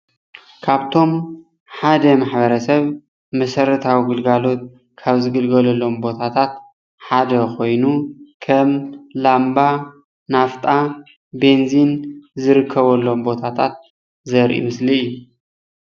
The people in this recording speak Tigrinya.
ካብቶም ሓደ ማሕበረሰብ መሰታዊ ግልጋሎት ካብ ዝግልገለሎም ቦታታት ሓደ ኮይኑ ከም ላምባ ፣ናፍጣ፣ በንዚን ዝርከብሎም ቦታታት ዘርኢ ምስሊ እዩ፡፡